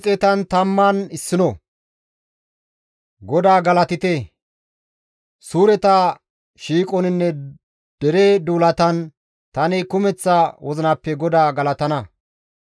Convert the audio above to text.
GODAA galatite! Suureta shiiqoninne dere duulatan tani kumeththa wozinappe GODAA galatana.